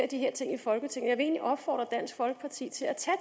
de her ting i folketinget egentlig opfordre dansk folkeparti til at tage